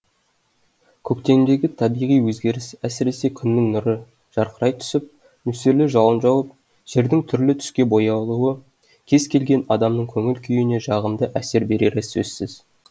көктемдегі табиғи өзгеріс әсіресе күннің нұры жарқырай түсіп нөсерлі жауын жауып жердің түрлі түске боялуы кез келген адамның көңіл күйіне жағымды әсер берері сөзсіз